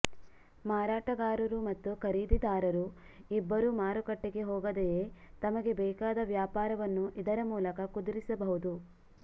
ಮಾರಾಟಗಾರರು ಮತ್ತು ಖರೀದಿದಾರರು ಇಬ್ಬರು ಮಾರುಕಟ್ಟೆಗೆ ಹೋಗದೆಯೇ ತಮಗೆ ಬೇಕಾದ ವ್ಯಾಪಾರವನ್ನು ಇದರ ಮೂಲಕ ಕುದುರಿಸಬಹುದು